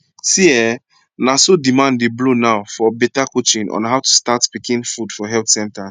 see eh na so demand dey blow now for better coaching on how to start pikin food for health centers